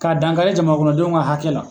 Ka dankari jamanakɔnɔdenw ka hakɛ la.